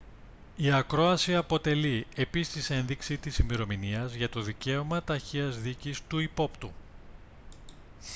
η ακρόαση αποτελεί επίσης ένδειξη της ημερομηνίας για το δικαίωμα ταχείας δίκης του υπόπτου